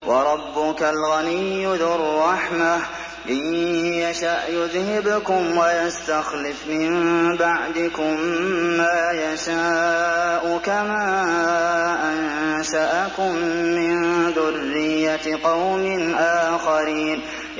وَرَبُّكَ الْغَنِيُّ ذُو الرَّحْمَةِ ۚ إِن يَشَأْ يُذْهِبْكُمْ وَيَسْتَخْلِفْ مِن بَعْدِكُم مَّا يَشَاءُ كَمَا أَنشَأَكُم مِّن ذُرِّيَّةِ قَوْمٍ آخَرِينَ